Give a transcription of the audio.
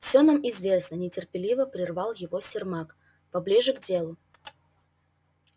все это нам известно нетерпеливо прервал его сермак поближе к делу